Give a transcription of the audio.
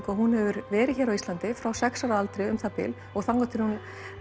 að hún hefur verið hér á Íslandi frá sex ára aldri um það bil og þangað til hún